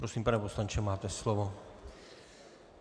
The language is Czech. Prosím, pane poslanče, máte slovo.